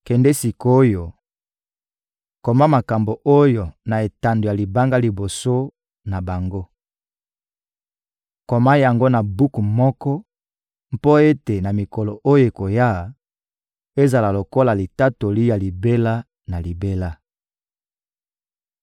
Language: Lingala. Kende sik’oyo, koma makambo oyo na etando ya libanga liboso na bango, koma yango na buku moko mpo ete na mikolo oyo ekoya, ezala lokola litatoli ya libela na libela.